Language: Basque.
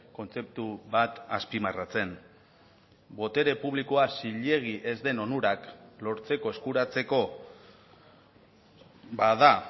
kontzeptu bat azpimarratzen botere publikoa zilegi ez den onurak lortzeko eskuratzeko bada